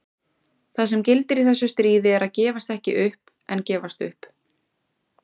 Það sem gildir í þessu stríði er að gefast ekki upp en gefast upp.